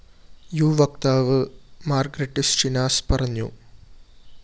U വക്താവ് Margaritis Schinas പറഞ്ഞു